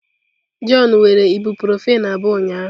Jọn were ibuprofen abụọ ụnyahụ.